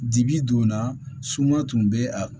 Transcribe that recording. Dibi donna suma tun bɛ a